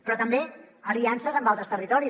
però també aliances amb altres territoris